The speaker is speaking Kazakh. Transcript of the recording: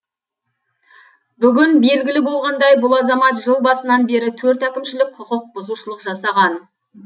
бүгін белгілі болғандай бұл азамат жыл басынан бері төрт әкімшілік құқық бұзушылық жасаған